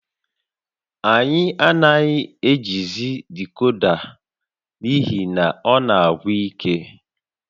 Anyị anaghị ejizi decoda n'ihi na ọ na-agwụ ike